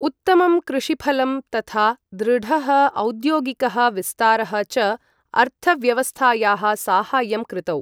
उत्तमं कृषिफलं तथा दृढः औद्योगिकः विस्तारः च अर्थव्यवस्थायाः साहाय्यं कृतौ।